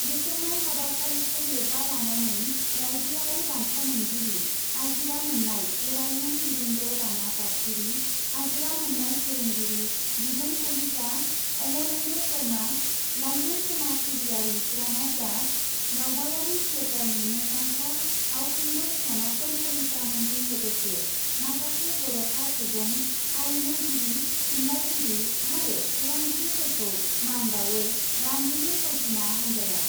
बेखेवनाय हाबाफारिखौ लोब्बा लानानै राइज्योयारि बान्था मोनगिरि आजिरा मोन्नाय गोरायुं बिरेन्द्र राना पाटगिरि, आजिरा मोन्नाय फोरोंगिरि द्विजेन कलिता, अमरेन्द्र शर्मा, लाइमोन समाज सिबियारि प्रनब दास, दावबायारि थियेटारनि मुंदांखा फावखुंगुर सनातन कलितामोनजों लोगोसे माखासे जर'खा सुबुं, आरिमुगिरि थुनलाइगिरि आरो खौरंगिरिफोरखौ मान बाउयो रामधेनु फावथिना हान्जाया ।